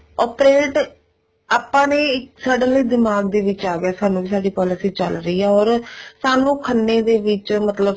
operate ਆਪਾਂ ਨੇ suddenly ਦਿਮਾਗ ਦੇ ਵਿੱਚ ਆਗਿਆ ਸਾਨੂੰ ਵੀ ਸਾਡੇ policy ਚੱਲ ਰਹੀ ਆ ਸਾਨੂੰ ਖੰਨੇ ਦੇ ਵਿੱਚ ਮਤਲਬ